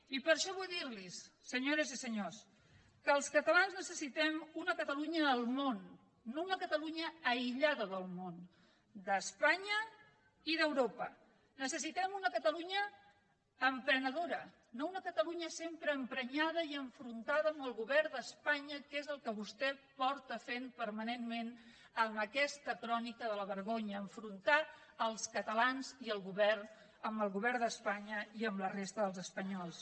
i per això vull dir los senyores i senyors que els catalans necessitem una catalunya al món no una catalunya aïllada del món d’espanya i d’europa necessitem una catalunya emprenedora no una catalunya sempre emprenyada i enfrontada amb el govern d’espanya que és el que vostè porta fent permanentment amb aquesta crònica de la vergonya enfrontar els catalans i el govern amb el govern d’espanya i amb la resta dels espanyols